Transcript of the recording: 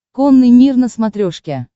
конный мир на смотрешке